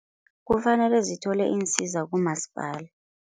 Kufanele zithole iinsiza kumaspala.